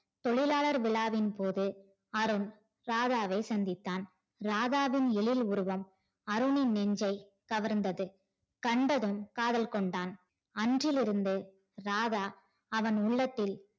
தொழிலாளர் விழாவின் போது அருண் ராதாவை சந்தித்தான் ராதாவின் எழில் உருவம் அருணின் நெஞ்சை கவர்ந்தது கண்டதும் காதல் கொண்டான் அன்றிலிருந்து ராதா அவன் உள்ளத்தில்